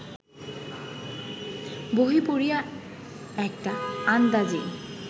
বহি পড়িয়া একটা আন্দাজি